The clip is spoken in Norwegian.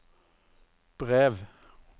brev